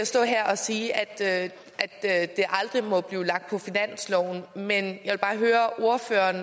stå her og sige at at det aldrig må blive lagt på finansloven men jeg vil bare høre om ordføreren